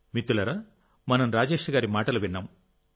మిత్రులారా మనం రాజేష్ గారి మాటలు విన్నాం